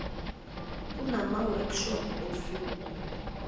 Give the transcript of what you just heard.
kunama workshop osuku